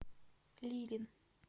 лилин